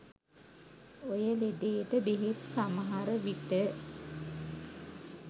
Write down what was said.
ඔය ලෙඩේට බෙහෙත් සමහර විට